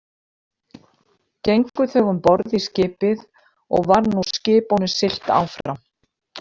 Gengu þau um borð í skipið og var nú skipunum siglt áfram.